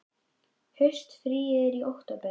Haustfríið er í október.